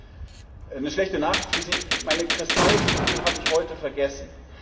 Ich habe eine schlechte Nachricht für Sie Meine Kristallkugel habe ich heute vergessen.